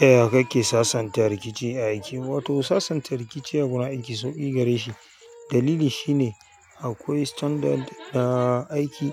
Yaya kake sasanta rikici a aiki. Wato sasanta rikici a gurin aiki sauƙi gare shi. Dalili shi ne akwai standard na aiki,